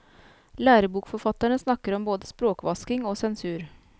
Lærebokforfatterne snakker om både språkvasking og sensur.